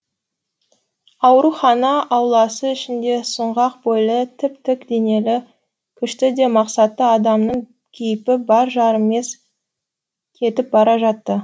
аурухана ауласы ішінде сұңғақ бойлы тіп тік денелі күшті де мақсатты адамның кейпі бар жарымес кетіп бара жатты